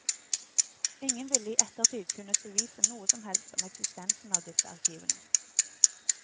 Ingen ville i ettertid kunnet bevise noe som helst om eksistensen av disse arkivene.